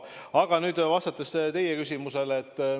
Aga nüüd vastan teie küsimusele.